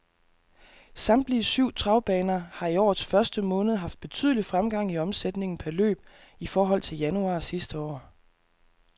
Samtlige syv travbaner har i årets første måned haft betydelig fremgang i omsætningen per løb i forhold til januar sidste år.